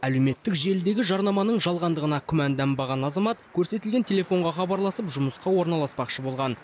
әлеуметтік желідегі жарнаманың жалғандығына күмәнданбаған азамат көрсетілген телефонға хабарласып жұмысқа орналаспақшы болған